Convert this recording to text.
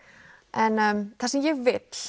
en það sem ég vil